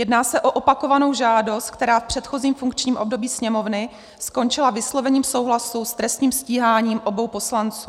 Jedná se o opakovanou žádost, která v předchozím funkčním období Sněmovny skončila vyslovením souhlasu s trestním stíháním obou poslanců.